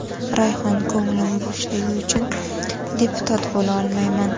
Rayhon: ko‘nglim bo‘shligi uchun deputat bo‘la olmayman.